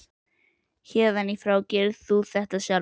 Héðan í frá gerir þú þetta sjálfur.